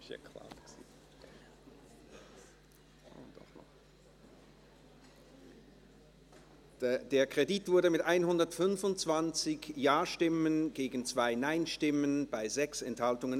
Sie haben diesen Kredit angenommen, mit 125 Ja- gegen 2 Nein-Stimmen bei 6 Enthaltungen.